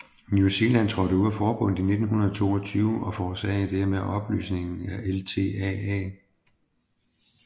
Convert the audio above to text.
New Zealand trådte ud af forbundet i 1922 og forårsagede dermed opløsningen af LTAA